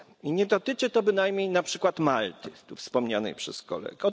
I nie dotyczy to bynajmniej na przykład Malty tu wspomnianej przez kolegę.